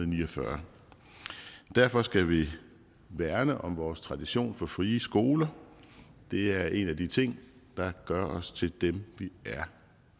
ni og fyrre derfor skal vi værne om vores tradition for frie skoler det er en af de ting der gør os til dem vi er